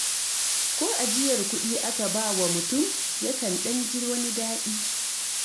Ko ajiyar kuɗi aka bawa mutum, ya kan ɗan ji wani daɗi.